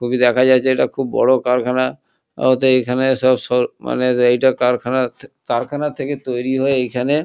ছবি দেখা যাচ্ছে এটা খুব বড়ো কারখানা ওতে এখানে সব সর মাএ এটা কারখা- কারখানা থেকে তৈরী হয় এইখানে--